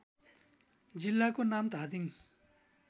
जिल्लाको नाम धादिङ